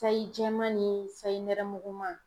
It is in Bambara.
Sayi jɛman ni sayi nɛrɛmuguma.